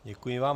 Děkuji vám.